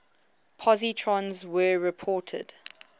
positrons were reported